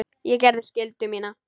Ég gerði skyldu mína.